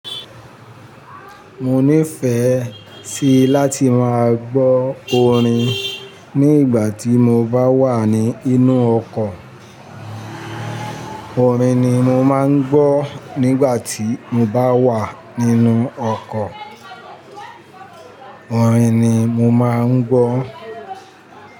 Mo nífẹ̀ẹ́ sí láti máa gbọ́ orin ní ìgbà tí mo bá wà ní inú ọkọ̀. Orin ni mo máa ń gbọ́ nígbà tí mo bá wà nínú ọkọ̀. Orin ni mo máa ń gbọ́.